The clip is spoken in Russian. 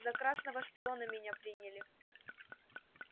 за красного шпиона меня приняли